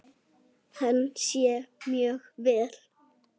Hann sér mjög vel.